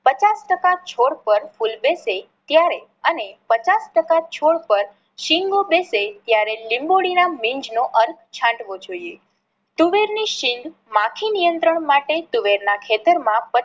પચાસ ટકા છોડ પર ફૂલ બેસે ત્યારે અને પચાસ ટકા છોડ પાર સિંગો બેસે ત્યારે લીંબોડી ના બીજ નો અર્ધ છાંટવો જોઈએ. તુવેર ની સિંગ માખી નિયત્રંણ માટે તુવેર ના ખેતર માં